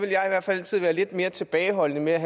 måtte være